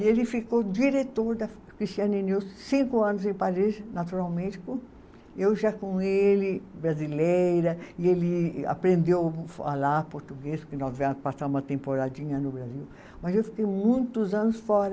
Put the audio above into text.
E ele ficou diretor da, cinco anos em Paris, naturalmente, eu já com ele, brasileira, e ele aprendeu falar português, porque nós viemos passar uma temporadinha no Brasil, mas eu fiquei muitos anos fora.